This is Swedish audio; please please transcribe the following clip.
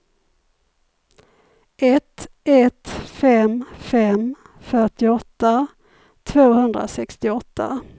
ett ett fem fem fyrtioåtta tvåhundrasextioåtta